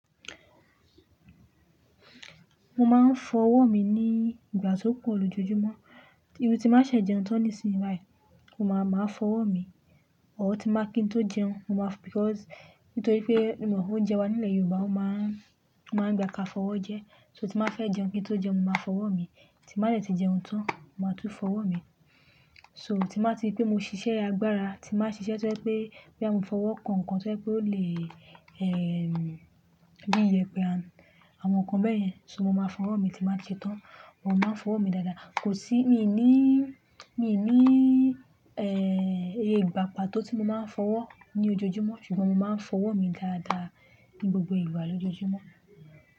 Mo máa ń fọwọ́ mi ní ìgbà tó pọ̀ lójoojúmọ́. Irú tí mbá ṣe jẹun tán nísinsìnyí báyìí, mo máa máa fọwọ́ mi. Ọ̀họ ti mbá kí n tó jẹun, mo máa because nítorí pé mo mọ oúnjẹ wa nílẹ̀ Yorùbá ó máa ń máa ń gba ka fọwọ́ jẹ. So tí máa fẹ́ jẹun kí n tó jẹun, mo máa fọwọ́ mi. Tí má lè ti jẹun tán, mo máa tún fọwọ́ mi. So tí mbáa ti pé mo ṣiṣẹ́ agbára, tí mbá ṣiṣẹ́ tó pé pé àmo fọwọ́ kan nǹkan tó pé ó lè eh bí i yẹpẹ̀ a àwọn nǹkan bẹ́ẹ̀ yẹn, so mo máa fọwọ́ mi tí mbá ti ṣe tán. Mo máa ń fọwọ́ mi dáadáa. Kò sí mi ò ní mi ò ní iye ìgbá pató ti mo máa ń fọwọ́ ní ojoojúmọ́, ṣùgbọ́n mo máa ń fọwọ́ mi dáadáa ní gbogbo ìgbà lójoojúmọ́.